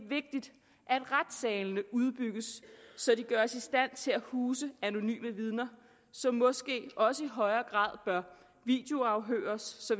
vigtigt at retssalene udbygges så de gøres i stand til at huse anonyme vidner som måske også i højere grad bør videoafhøres